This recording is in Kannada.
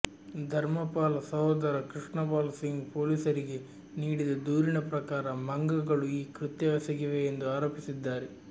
ಧರ್ಮಪಾಲ್ ಸಹೋದರ ಕೃಷ್ಣಪಾಲ್ ಸಿಂಗ್ ಪೊಲೀಸರಿಗೆ ನೀಡಿದ ದೂರಿನ ಪ್ರಕಾರ ಮಂಗಗಳು ಈ ಕೃತ್ಯವೆಸಗಿವೆ ಎಂದು ಆರೋಪಿಸಿದ್ದಾರೆ